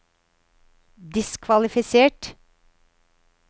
diskvalifisert